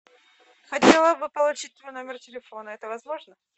хотела бы получить мой номер телефона это возможно